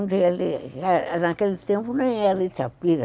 Naquele tempo nem era Itapira.